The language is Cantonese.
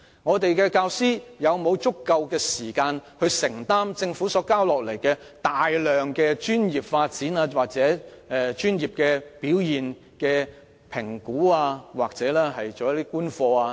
香港的教師是否有足夠時間承擔政府要求他們進行的繁重工作，如專業發展、表現評估或觀課等？